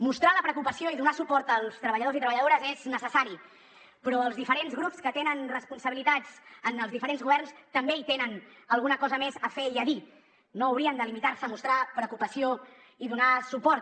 mostrar la preocupació i donar suport als treballadors i treballadores és necessari però els diferents grups que tenen responsabilitats en els diferents governs també hi tenen alguna cosa més a fer i a dir no haurien de limitar se a mostrar preocupació i donar suport